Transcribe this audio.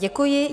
Děkuji.